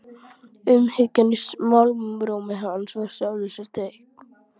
Umhyggjan í málrómi hans var í sjálfu sér teikn.